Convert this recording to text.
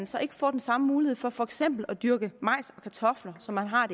så ikke får den samme mulighed for for eksempel at dyrke majs og kartofler som han har